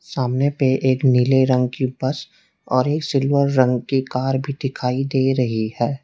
सामने पे एक नीले रंग की बस और एक सिल्वर रंग की कार भी दिखाई दे रही है।